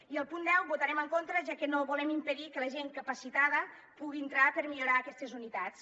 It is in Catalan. i al punt deu hi votarem en contra ja que no volem impedir que la gent capacitada pugui entrar per millorar aquestes unitats